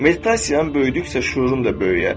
Meditasiyan böyüdükcə şüurun da böyüyər.